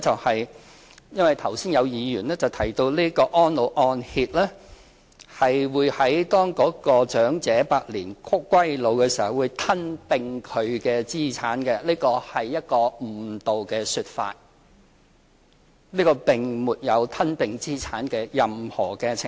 第一，因為剛才有議員提到安老按揭會在長者百年歸老時吞併其資產，這是一個誤導的說法，這個計劃並沒有吞併資產的任何程序。